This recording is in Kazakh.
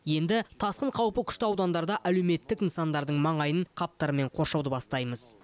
енді тасқын қаупі күшті аудандарда әлеуметтік нысандардың маңайын қаптармен қоршауды бастаймыз